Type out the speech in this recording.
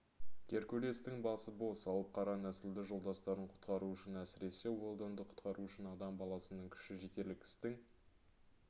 геркулестің басы бос алып қара нәсілді жолдастарын құтқару үшін әсіресе уэлдонды құтқару үшін адам баласының күші жетерлік істің